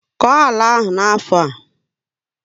Koo àlà áhù n'afọ a!